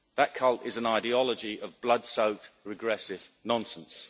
That cult is an ideology of blood soaked regressive nonsense.